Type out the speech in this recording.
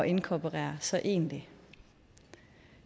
inkorporere så egentlig